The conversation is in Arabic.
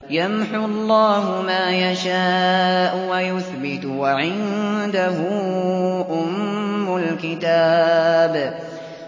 يَمْحُو اللَّهُ مَا يَشَاءُ وَيُثْبِتُ ۖ وَعِندَهُ أُمُّ الْكِتَابِ